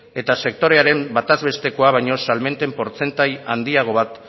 eta sektorearen batazbestekoa baino salmenten portzentai handiago bat